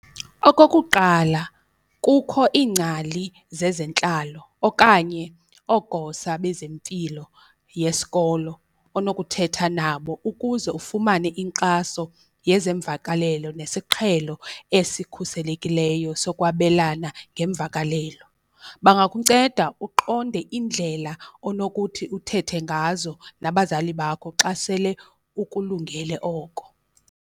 Okokuqala kukho iingcali zezentlalo okanye oogosa bezempilo yesikolo onokuthetha nabo ukuze ufumane inkxaso yezemvakalelo nesiqhelo esikhuselekileyo sokwabelana ngemvakalelo. Bangakunceda uqonde indlela onokuthi uthethe ngazo nabazali bakho xa sele ukulungele oko.